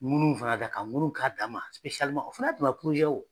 Ŋunu fana ka kan, ka ŋunu k'a dan. O fana y'a damana ye wo.